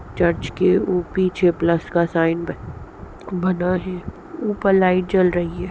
Church के उ पीछे प्लस का साइन बना है। ऊपर लाइट जल रही है।